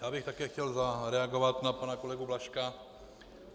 Já bych také chtěl zareagovat na pana kolegu Blažka.